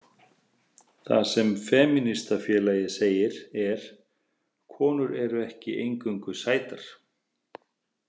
Það sem femínistafélagið segir er: Konur eru ekki eingöngu sætar.